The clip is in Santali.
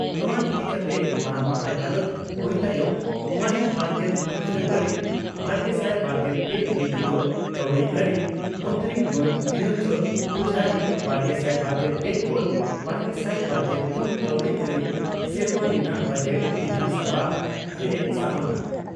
ᱱᱚᱣᱟ ᱤᱫᱤᱠᱟᱛᱮ ᱵᱟᱨ ᱢᱟᱦᱟᱸ ᱜᱟᱞᱚᱪ ᱦᱩᱭ ᱛᱟᱭᱚᱢ ᱢᱟᱦᱤᱛ ᱵᱟᱨᱜᱮᱞ ᱯᱩᱱ ᱯᱷᱮᱵᱨᱩᱣᱟᱨᱤ ᱵᱟᱨᱜᱮᱥᱟᱭ ᱵᱟᱨᱜᱮᱞ ᱯᱮ ᱦᱤᱛ ᱦᱤᱞᱚᱜ ᱠᱟᱹᱣᱰᱤᱟᱹᱨᱤ ᱢᱚᱱᱛᱨᱤ ᱢᱟᱱ ᱱᱤᱨᱚᱱᱡᱚᱱ ᱯᱩᱡᱷᱟᱨᱤ ᱵᱟᱨᱜᱮᱥᱟᱭ ᱵᱟᱨᱜᱮᱞ ᱯᱮ ᱠᱷᱚᱱ ᱵᱟᱨᱜᱮᱥᱟᱭ ᱵᱟᱨᱜᱮᱞ ᱯᱩᱱ ᱠᱟᱹᱣᱰᱤᱟᱹᱨᱤ ᱥᱮᱨᱢᱟ ᱨᱮᱱᱟᱜ ᱵᱚᱡᱮᱴ ᱵᱤᱫᱷᱟᱱ ᱥᱚᱵᱷᱟ ᱨᱮᱭ ᱥᱟᱢᱟᱝᱟ ᱾